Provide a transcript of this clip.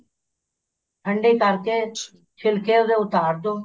ਠੰਡੀ ਕਰਕੇ ਛਿਲਕੇ ਉਹਦੇ ਉਤਾਰ ਦੋ